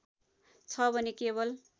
छ भने केवल